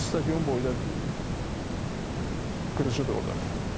Bir stadion boyda qırıcıdır orda.